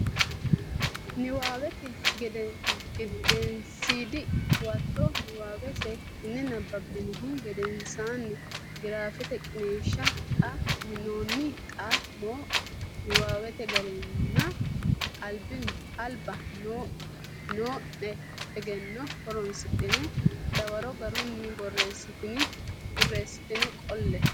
Nabbawate Gedensiidi Huwato Niwaawe seekkitine nabbabbinihu gedensaanni giraafete qiniishshi xa minoonni xa mo niwaawete garinninna alba noo ne egenno horonsidhine dawaro garunni borreessitine qolle.